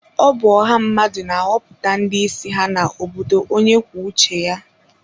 Ọ bụ ọha mmadụ na-ahọpụta ndị isi ha na obodo onye kwuo uche ya.